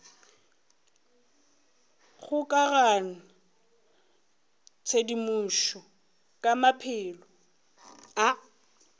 kgokaganya tshedimošo ka maphelo a